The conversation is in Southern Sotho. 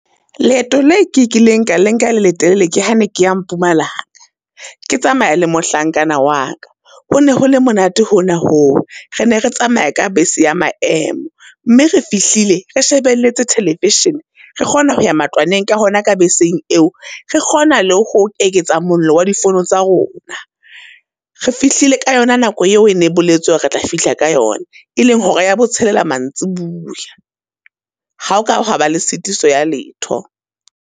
Leeto le ke kileng ka le nka le letelele, ke ha ne ke ya Mpumalanga, ke tsamaya le mohlankana wa ka. Ho ne ho le monate hona ho, re ne re tsamaya ka bese ya maemo mme re fihlile re shebeletse television, re kgona ho ya matlwaneng ka hona ka beseng eo, re kgona le ho eketsa mollo wa di fono tsa rona. Re fihlile ka yona nako eo e ne boletswe hore re tla fihla ka yona. E leng hora ya botshelela mantsibuya. Ha o ka hwa ba le sitiso ya letho.